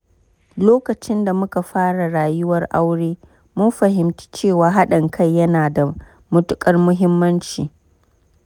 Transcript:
Lokacin da muka fara rayuwar aure, mun fahimci cewa hadin kai yana da matuƙar muhimmanci.